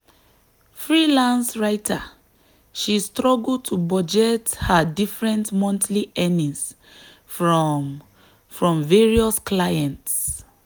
freelance writer she struggle to budget her different monthly earnings from from various clients.